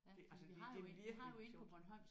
Det altså det det er virkelig sjovt